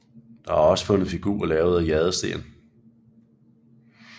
Der er også fundet figurer lavet af jadesten